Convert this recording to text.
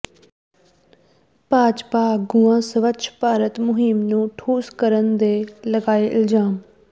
ਭਾਜਪਾ ਆਗੂਆਂ ਸਵੱਛ ਭਾਰਤ ਮੁਹਿੰਮ ਨੂੰ ਠੁੱਸ ਕਰਨ ਦੇ ਲਾਏ ਇਲਜ਼ਾਮ